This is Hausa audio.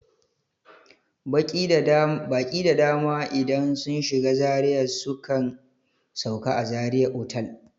Baƙi da dama idan sun shiga Zaria sukan sauka a zaria otal